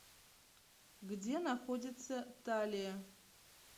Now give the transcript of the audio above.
где находится талия